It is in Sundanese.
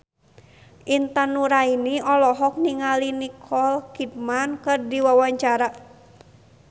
Intan Nuraini olohok ningali Nicole Kidman keur diwawancara